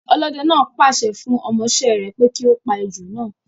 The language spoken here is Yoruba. Ọlọ́dẹ náà pa àṣẹ fun ọmọ ìṣe re pé kí ó pa ejò naa